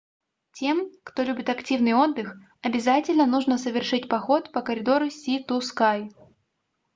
тем кто любит активный отдых обязательно нужно совершить поход по коридору си-ту-скай